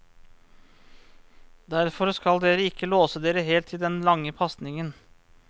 Derfor skal dere ikke låse dere helt til den lange pasningen.